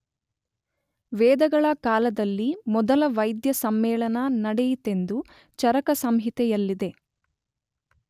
ವೇದಗಳ ಕಾಲದಲ್ಲಿ ಮೊದಲ ವೈದ್ಯ ಸಮ್ಮೇಳನ ನಡೆಯಿತೆಂದು ಚರಕಸಂಹಿತೆಯಲ್ಲಿದೆ.